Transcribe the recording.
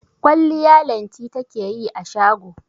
Kwalliya Lanti take yi a shago.